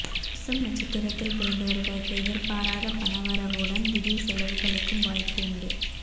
பூசம் நட்சத்திரத்தில் பிறந்தவர்களுக்கு எதிர்பாராத பணவரவுடன் திடீர் செலவுகளுக்கும் வாய்ப்பு உண்டு